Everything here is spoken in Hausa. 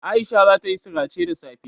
Aisha zata yi sirace da safe.